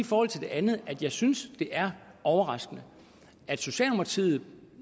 forhold til det andet at jeg synes det er overraskende at socialdemokratiet